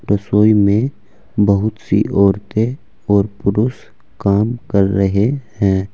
रसोई में बहुत सी औरतें और पुरुष काम कर रहे हैं।